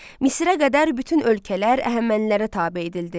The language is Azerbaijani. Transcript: Misrə qədər bütün ölkələr Əhəmənilərə tabe edildi.